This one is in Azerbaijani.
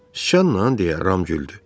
Sıçanla, deyə Ram güldü.